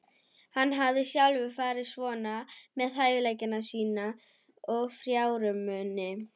Hann hafði sjálfur farið svona með hæfileika sína og fjármuni.